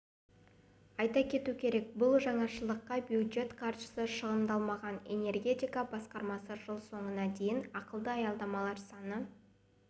айта кету керек бұл жаңашылдыққа бюджет қаржысы шығындалмаған энергетика басқармасы жыл соңына дейін ақылды аялдамалар саны